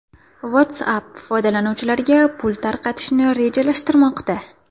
WhatsApp foydalanuvchilariga pul tarqatishni rejalashtirmoqda.